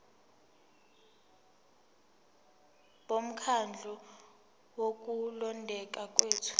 bomkhandlu wokulondeka kwethu